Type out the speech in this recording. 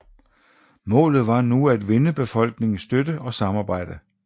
Målet var nu at vinde befolkningens støtte og samarbejde